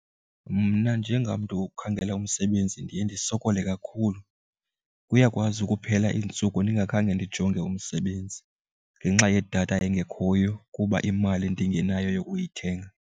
Mna njengamntu ukhangela umsebenzi ndiye ndisokole kakhulu, kuyakwazi ukuphela iintsuku ndingakhange ndijonge umsebenzi ngenxa yedatha engekhoyo kuba imali ndingenayo yokuyithenga.